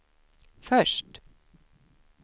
först